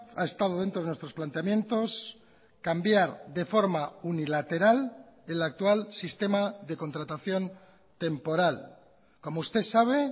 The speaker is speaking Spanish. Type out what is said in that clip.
ha estado dentro de nuestros planteamientos cambiar de forma unilateral el actual sistema de contratación temporal como usted sabe